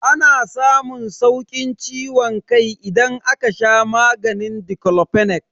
Ana samun saukin ciwon kai idan aka sha maganin diclofenac.